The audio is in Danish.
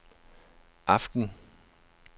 aften